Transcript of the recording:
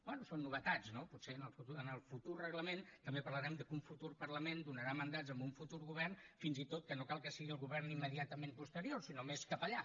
bé són novetats no potser en el futur reglament també parlarem del fet que un futur parlament donarà mandats a un futur govern fins i tot que no cal que sigui el govern immediatament posterior sinó més cap allà